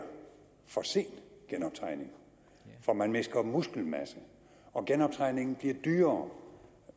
for sen genoptræning for man mister muskelmasse og genoptræningen bliver dyrere